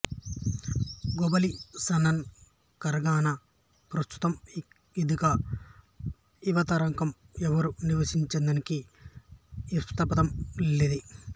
globalisation కరనన్గ ప్రస్తుతమ్ ఇక్కద యువరతరకమ్ ఎవరు నివసిన్ఛదనికి ఇస్తపదదమ్ లెదె